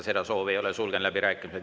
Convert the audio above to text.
Seda soovi ei ole, sulgen läbirääkimised.